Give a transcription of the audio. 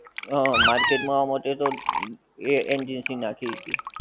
હં market માં આવા માટે તો એ agency નાંખી હતી.